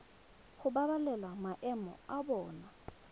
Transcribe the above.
go babalela maemo a bona